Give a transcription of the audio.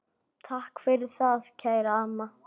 Takk fyrir það, kæra amma.